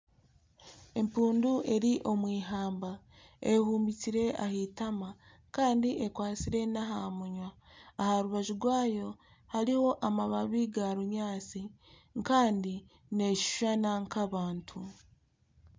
Empundu eri omu eihamba eyehumbikire aha eitama kandi ekwatsire n'aha munwa. Aha rubaju rwayo hariho amababi ga binyaatsi kandi neshushana nk'abantu.